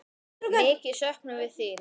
Mikið söknum við þín.